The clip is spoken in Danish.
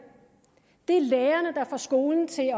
det er lærerne der får skolen til at